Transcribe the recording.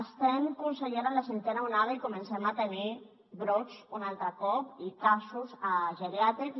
estem consellera en la cinquena onada i comencem a tenir brots un altre cop i casos a geriàtrics